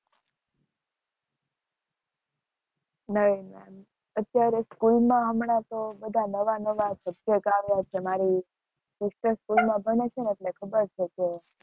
નવીનમાં, અત્યારે school માં હમણાં તો બધા નવા-નવા આવ્યા છે, મારી sister માં ભણે છે ને એટલે ખબર છે કે